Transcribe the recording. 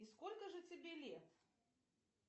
и сколько же тебе лет